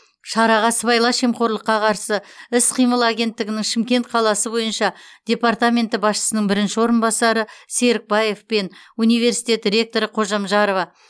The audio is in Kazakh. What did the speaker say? шараға сыбайлас жемқорлыққа қарсы іс қимыл агенттігінің шымкент қаласы бойынша департаменті басшысының бірінші орынбасары серікбаев пен университет ректоры қожамжарова